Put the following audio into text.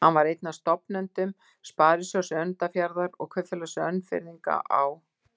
Hann var einn af stofnendum Sparisjóðs Önundarfjarðar og Kaupfélags Önfirðinga á